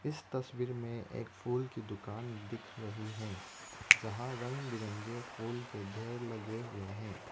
इस तस्वीर में एक फूल की दुकान दिख रही है जहां रंग बिरंगे फूल के ढ़ेर लगे हुए हैं।